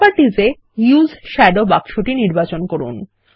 properties এ use shadow বাক্সটি নির্বাচিত করুন